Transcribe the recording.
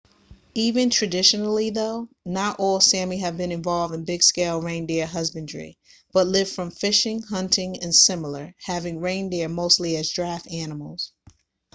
even traditionally though not all sámi have been involved in big scale reindeer husbandry but lived from fishing hunting and similar having reindeer mostly as draft animals